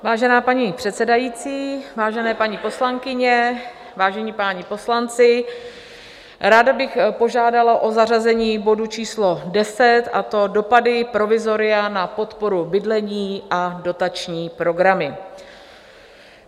Vážená paní předsedající, vážené paní poslankyně, vážení páni poslanci, ráda bych požádala o zařazení bodu číslo 10, a to dopady provizoria na podporu bydlení a dotační programy.